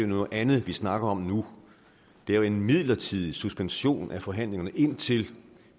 noget andet vi snakker om nu det er en midlertidig suspension af forhandlingerne indtil